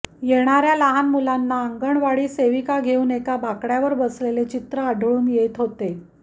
येणाऱ्या लहान मुलांना अंगणवाडी सेविका घेऊन एका बाकड्यावर बसलेले चित्र आढळून येत होते